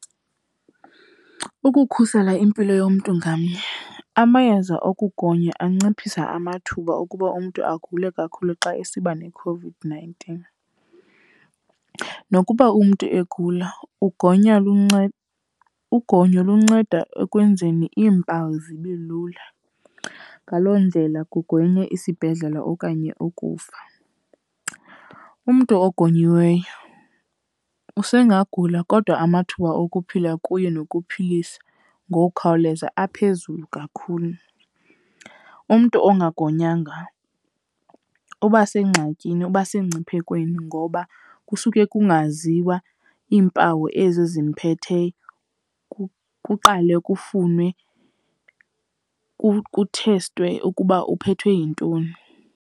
Ukukhusela impilo yomntu ngamnye, amayeza okugonya anciphisa amathuba okuba umntu agule kakhulu xa esiba neCOVID-nineteen. Nokuba umntu egula, ugonyo lunceda ekwenzeni iimpawu zibe lula. Ngaloo ndlela kugwenywe isibhedlela okanye ukufa. Umntu ogonyiweyo usengagula kodwa amathuba okuphila kuye nokuphilisa ngokukhawuleza aphezulu kakhulu. Umntu ongagonyanga uba sengxakini, uba semngciphekweni, ngoba kusuke kungaziwa iimpawu ezi zimphetheyo, kuqale kufunwe kuthestwe ukuba uphethwe yintoni.